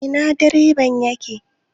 Ina direban yake?